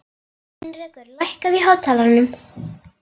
Heinrekur, lækkaðu í hátalaranum.